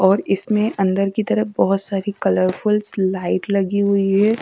और इसमें अंदर की तरफ बहोत सारी कलरफुल्स लाइट लगी हुई हैं।